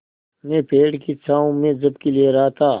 मैं पेड़ की छाँव में झपकी ले रहा था